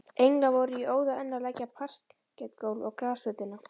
Englar voru í óða önn að leggja parketgólf á grasflötina.